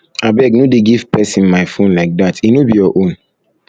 abeg no dey give person my phone like dat e no be your own